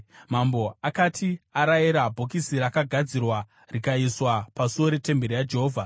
Mambo akati arayira, bhokisi rakagadzirwa rikaiswa pasuo retemberi yaJehovha.